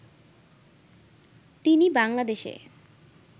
তিনি বাংলাদেশে